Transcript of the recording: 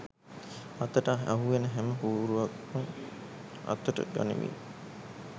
අතට අහුවෙන හැම පූරුවක්ම අතට ගනිමින් '